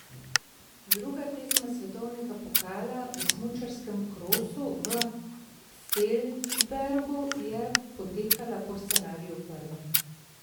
Druga tekma svetovnega pokala v smučarskem krosu v Feldbergu je potekala po scenariju prve.